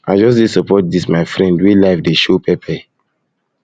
i just dey support dis my friend wey life dey show pepper